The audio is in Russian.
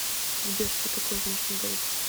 сбер что такое внешний долг